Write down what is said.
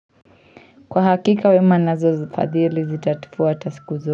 Kwa hakika wema nazo fadhili zitatufuata siku zo.